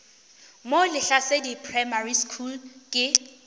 mo lehlasedi primary school ke